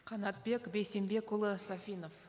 қанатбек бейсенбекұлы сафинов